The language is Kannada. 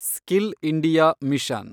skill India mission